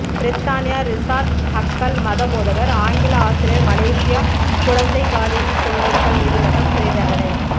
பிரித்தானியா Richard Huckle மதபோதகர் ஆங்கில ஆசிரியர் மலேசியா குழந்தை பாலியல் துன்புறுத்தல் நீதிமன்றம் சிறைத் தண்டனை